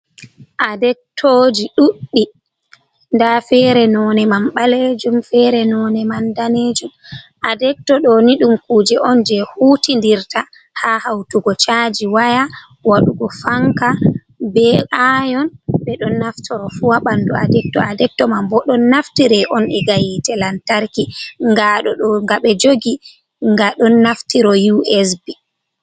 Adektoji ɗuɗɗi, nda fere none man ɓalejum, fere none man ɗanejum, adekto ɗo ni ɗum kuje on je hutidirta ha hautugo chaji waya, waɗugo fanka, be ayon, ɓe ɗon naftoro fu ha bandu adetkto man, bo ɗon naftire on ega hitte lantarki ga ɗo ɗo, ɓe jogi ga ɗon naftiro usb.